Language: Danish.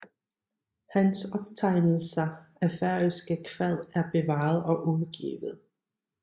Hans optegnelser af færøske kvad er bevaret og udgivet